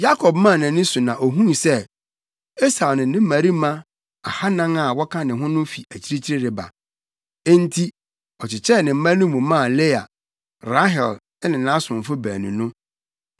Yakob maa nʼani so na ohuu sɛ Esau ne ne mmarima ahannan a wɔka ne ho no fi akyirikyiri reba. Enti ɔkyekyɛɛ ne mma no mu maa Lea, Rahel ne nʼasomfo baanu no.